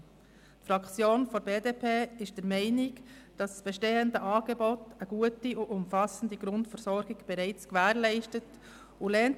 Die BDP-Fraktion ist der Meinung, dass mit dem bestehenden Angebot eine gute und umfassende Grundversorgung bereits gewährleistet ist.